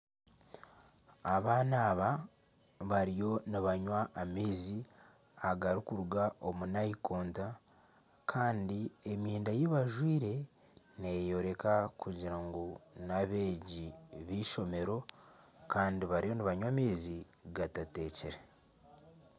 Abaana aba bariyo nibanywa amaizi agarikuruga omu nayikondo kandi emyenda ei bajwaire neyereka kugira ngu n'abeegi b'eishomero kandi bariyo nibanywa amaizi gatatekire.